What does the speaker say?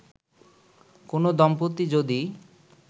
কোন দম্পতি যদি